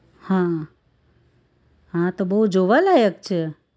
હા હા તો બહુ જોવાલાયક છે